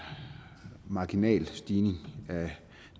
marginal stigning af